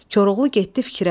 Koroğlu getdi fikrə.